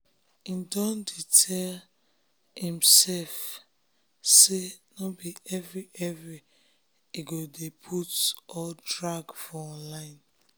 im don dey tell dey tell imsef say nor be every every im go de put or drag for online